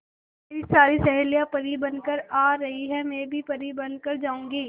मेरी सारी सहेलियां परी बनकर आ रही है मैं भी परी बन कर जाऊंगी